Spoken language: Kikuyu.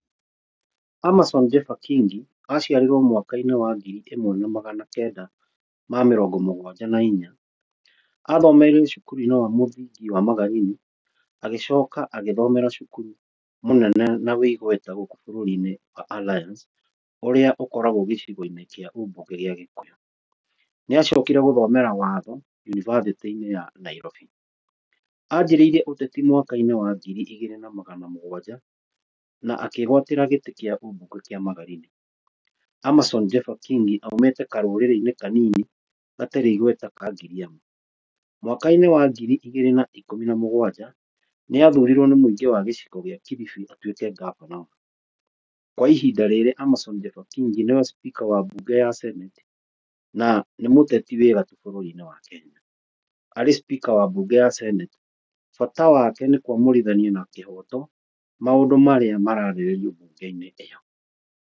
Amason Jepha Kingi, aciarirwo mwaka-inĩ wa ngiri ĩmwe na magana kenda ma mĩrongo mũgwanja na inya. Athomeire cukuru-inĩ wa mũthingi wa Magarini, agĩcoka agĩthomera cukuru mũnene na wĩ igweta gũkũ bũrũri-inĩ wa Alliance, ũrĩa ũkoragwo gĩcigo-inĩ kwa ũbunge gĩa Gikũyũ. Nĩ acokire gũthomera watho unibacitĩ-inĩ ya Nairobi. Anjĩrĩirie ũteti mwaka-inĩ wa ngiri igĩri na magana mũgwanja, na akĩgwatĩra gĩtĩ kĩa ũbunge kĩa Magarina. Amason Jepha Kingi aumĩte karũrĩrĩ-inĩ kanini gatarĩ igweta ka Giriama. Mwaka-inĩ wa ngiri igĩrĩ na ikũmi na mũgwanja, nĩ athurirwo nĩ mũingĩ wa gĩcigo kĩa Kilifi atwĩke ngabana wao. Kwa ihinda rĩrĩ Amason Jepha Kingi nĩwe speaker wa bunge ya senate, na nĩ mũteti wa gatũ bũrũri-inĩ wa Kenya. Arĩ speaker wa bunge ya senate bata wake nĩ kũamũrithania na kĩhoto maũndũ marĩa mararĩrĩrio mbunge-inĩ ĩyo.